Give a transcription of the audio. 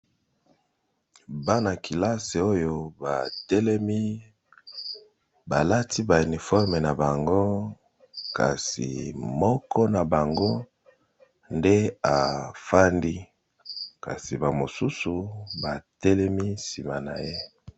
Bana kelasi oyo batelemi balati ba uniforme na bango kasi moko na bango nde efandi kasi bamosusu batelemi nsima na ye.